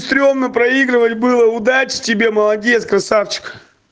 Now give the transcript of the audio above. стремно проигрывать было удачи тебе молодец красавчик